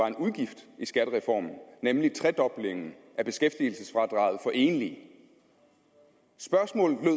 en udgift i skattereformen nemlig tredoblingen af beskæftigelsesfradraget for enlige spørgsmålet